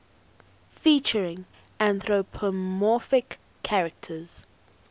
featuring anthropomorphic characters